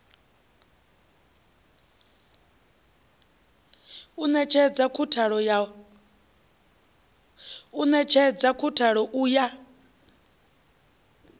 u netshedza khathulo u ya